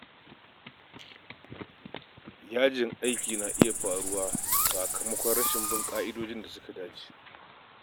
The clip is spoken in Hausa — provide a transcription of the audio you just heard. Yajin aiki na iya faruwa sakamakon rashin bin ƙa'idar da ta dace